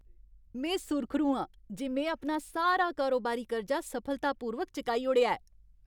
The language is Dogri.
में सुर्खरू आं जे में अपना सारा कारोबारी कर्जा सफलतापूर्वक चुकाई ओड़ेआ ऐ।